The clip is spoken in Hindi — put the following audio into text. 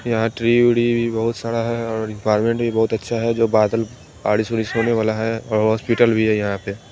यहाँ पे टिड़ी विड़ी भी बहोत साड़ा है और गार्डन भी बहोत अच्छा है जो बादल बाड़िश ओड़िश होने वाला है और होस्पिटल भी है यहाँ पे --